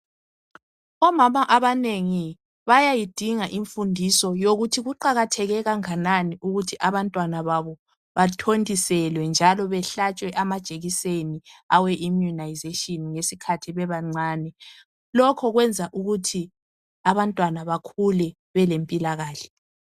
Omama abanengi bayayidinga imfundiso yokuthi kuqakatheke kanganani ukuthi abantwana babo bathontiselwe njalo bahlatshwe amajekiseni awe immunisation ngesikhathi bebancane. Lokhu kwenza ukuthi abantwana bakhule belempilakahle